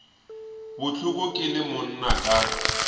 bohloko ke le monna ka